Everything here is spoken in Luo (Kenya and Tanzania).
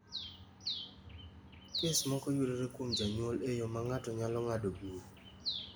Kes moko yudore kuom jonyuol e yo ma ng’ato nyalo ng’adogo bura.